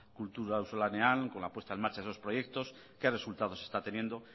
kultura auzolanean con la puesta en marcha de esos proyectos qué resultados está teniendo